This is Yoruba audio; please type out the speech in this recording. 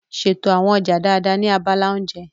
Ṣètò àwọn ọjà dáadáa ní abala oúnjẹ.